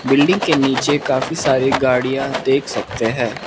Building के नीचे काफी सारी गाड़ियां देख सकते हैं।